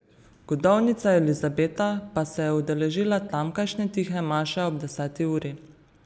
Godovnica Elizabeta pa se je udeležila tamkajšnje tihe maše ob deseti uri.